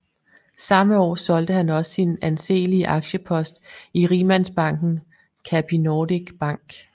Samme år solgte han også sin anseelige aktiepost i rigmandsbanken Capinordic Bank